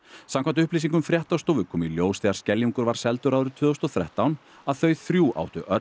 samkvæmt upplýsingum fréttastofu kom í ljós þegar Skeljungur var seldur árið tvö þúsund og þrettán að þau þrjú áttu öll